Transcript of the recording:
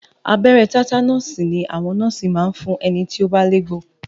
Abẹ́rẹ́ tátánọ̀sì ni àwọn nọ́ọ̀sì máa ń fún ẹni tí ó bá légbò